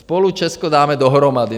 Spolu Česko dáme dohromady.